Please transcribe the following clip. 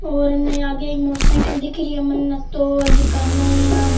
और यहाँ आगे एक मोटर साइकिल दिख री है मने तो जेका --